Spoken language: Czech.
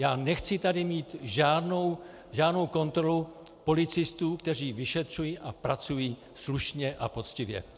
Já nechci tady mít žádnou kontrolu policistů, kteří vyšetřují a pracují slušně a poctivě.